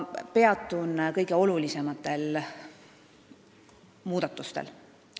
Peatun kõige olulisematel muudatustel.